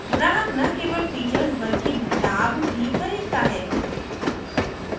ग्राहक न केवल फीचर्स बल्कि लाभ भी ख़रीदता है